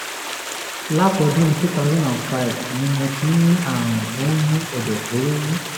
látọdún two thousand and five ni mo ti ń ní àrùn tó ń mú ẹ̀dọ̀fóró wú